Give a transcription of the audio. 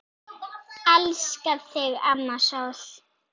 Elska þig, amma sól.